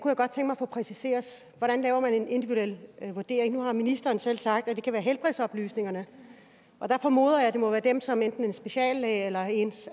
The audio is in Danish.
få præciseret hvordan laver man en individuel vurdering nu har ministeren selv sagt at det kan være helbredsoplysninger og der formoder jeg at det må være dem som enten en speciallæge eller ens